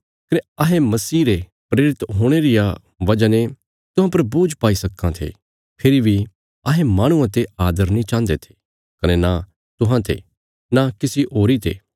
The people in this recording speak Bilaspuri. कने अहें मसीह रे प्रेरित हुणे रिया वजह ने तुहां पर बोझ पाई सक्कां थे फेरी बी अहें माहणुआं ते आदर नीं चाहन्दे थे कने न तुहांते न किसी होरी ते